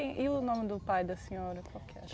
E e o nome do pai da senhora? Qual que é